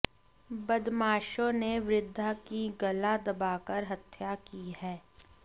बदमाशों ने वृद्धा की गला दबाकर हत्या की है